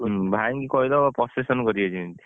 ଭାଇଙ୍କୁ କହିଦବ procession କରିବେ ଯେମିତି